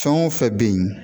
Fɛn o fɛn bɛ yen